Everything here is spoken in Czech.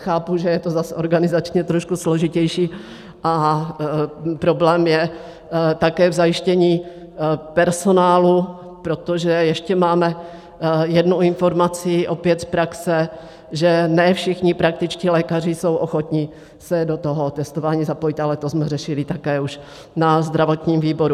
Chápu, že je to zase organizačně trošku složitější a problém je také v zajištění personálu, protože ještě máme jednu informaci, opět z praxe, že ne všichni praktičtí lékaři jsou ochotni se do toho testování zapojit, ale to jsme řešili také už na zdravotním výboru.